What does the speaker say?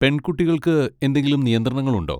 പെൺകുട്ടികൾക്ക് എന്തെങ്കിലും നിയന്ത്രണങ്ങൾ ഉണ്ടോ?